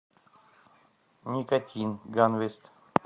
никотин ганвест